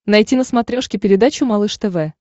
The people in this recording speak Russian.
найти на смотрешке передачу малыш тв